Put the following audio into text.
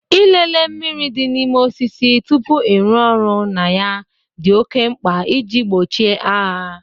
Ịlele mmiri dị n'ime osisi tupu ịrụ ọrụ na ya dị oké mkpa iji gbochie agha.